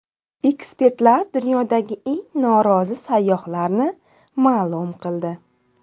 Ekspertlar dunyodagi eng norozi sayyohlarni ma’lum qildi.